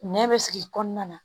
Nɛn bɛ sigi kɔnɔna na